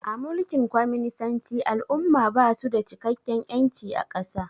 A mulkin kwaminisanci al'umma basu da cikakken ƴanci a ƙasa